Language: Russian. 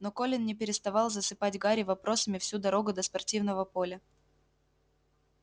но колин не переставал засыпать гарри вопросами всю дорогу до спортивного поля